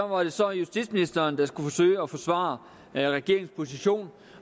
var det så justitsministeren der skulle forsøge at forsvare regeringens position